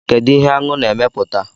kedu ihe Aṅụ na-emeputa?